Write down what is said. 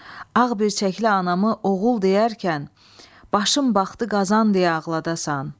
Ağ birçəkli anamı oğul deyərkən, başım baxdı qazan deyə ağladasan.